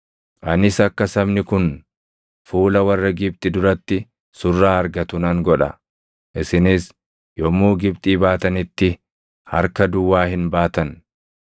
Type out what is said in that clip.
“Anis akka sabni kun fuula warra Gibxi duratti surraa argatu nan godha; isinis yommuu Gibxii baatanitti harka duwwaa hin baatan.